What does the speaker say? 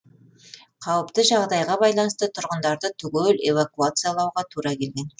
қауіпті жағдайға байланысты тұрғындарды түгел эвакуациялауға тура келген